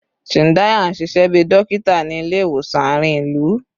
Chindaya n ṣiṣẹ bi dokita ni ile-iwosan aarin ilu